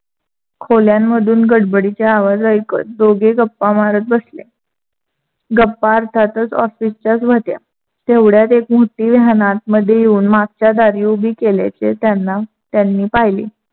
खोल्यांमधून गडबडीचे आवाज ऐकत दोघे गप्पा मारत बसले. गप्पा अर्थातच ऑफिसच्याच व्‍हत्या. तेवढयात एक van आतमध्ये येऊन मागच्या दारी उभी केल्याचे त्‍यांना त्यांनी पहिले.